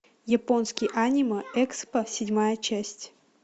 японский аниме экспо седьмая часть